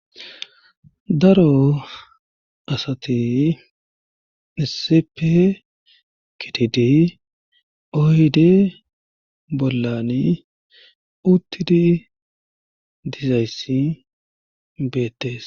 daro asati isepe gidid oyde bollani uttidi dizayssi beettes